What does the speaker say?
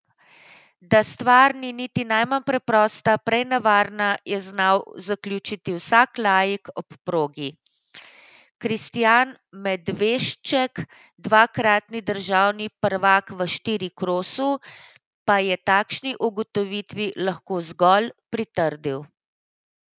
Da stvar ni niti najmanj preprosta, prej nevarna, je znal zaključiti vsak laik ob progi, Kristijan Medvešček, dvakratni državni prvak v štirikrosu, pa je takšni ugotovitvi lahko zgolj pritrdil.